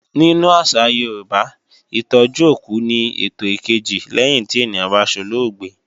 Nínú àṣà Yorùbá, Ìtọ́jú òkú ni ètò ìkejì lẹ́yìn tí ènìyàn bá solóògbé